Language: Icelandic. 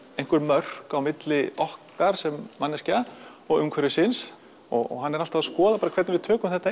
einhver mörk milli okkar sem manneskja og umhverfisins og hann er alltaf að skoða hvernig við tökum þetta